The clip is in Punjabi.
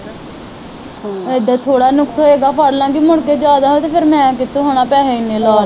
ਇਹਦਾ ਥੋੜ੍ਹਾ ਨੁਕਸ ਹੋਵੇਗਾ ਫੜ ਲੈਣਗੇ ਮੁੜਕੇ ਜਿਆਦਾ ਹੋਇਆ ਤੇ ਫਿਰ ਮੈ ਕਿਥੋਂ ਹੈਨਾ ਪੈਸੇ ਇਹਨੇ ਲਾ